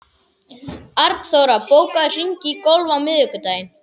Arnþóra, bókaðu hring í golf á miðvikudaginn.